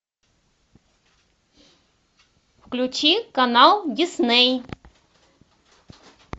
включи канал дисней